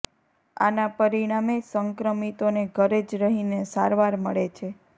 આના પરિણામે સંક્રમિતોને ઘરે જ રહીને સારવાર મળે છે